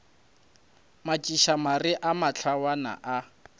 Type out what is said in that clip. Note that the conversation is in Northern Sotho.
metšiša mare le mahlwana a